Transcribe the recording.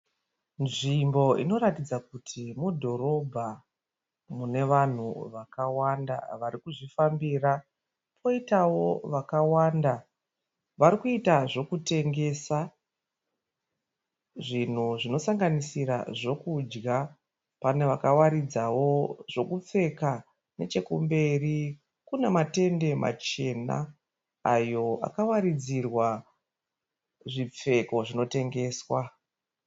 Nzvimbo inoratidza kuti mudhorobha mune vanhu vakawanda varikuzvifambira kwoitawo vakawanda varikuita zvokutengesa zvinhu zvinosanganisira zvekudya. Pane vakawaridzawo zvekupfeka. Nechekumberi kune matende machena ayo akawaridzirwa zvipfeko zvinotengesa.